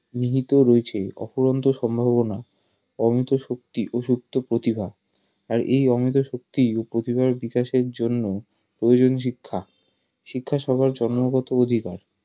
নিহিত রয়েছে অফুরন্ত সম্ভাবনা অনীত শক্তি ও সুপ্ত প্রতিভা আর এই অনীত শক্তি ও প্রতিভার বিকাশের জন্য প্রয়োজন শিক্ষা শিক্ষা সবার জন্মগত অধিকার